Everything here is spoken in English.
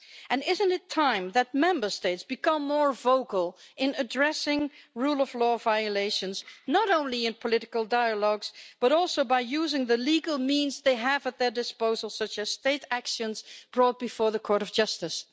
And isn't it time that Member States became more vocal in addressing rule of law violations, not only in political dialogues but also by using the legal means they have at their disposal, such as state actions brought before the Court of Justice?